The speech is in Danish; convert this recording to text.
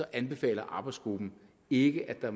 anbefaler arbejdsgruppen ikke at